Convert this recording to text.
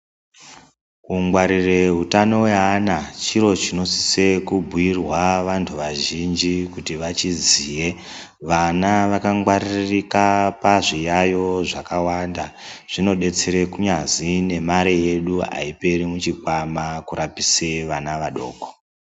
Kungwarire utano weana chiro chinosisa kubhuirwa antu azhinji kuti vachiziye vana wakangwaririka pazviyayo zvakawanda zvinodetsera kunyazi nemare yedu aperi muchikwama kurapisa vana vadoko.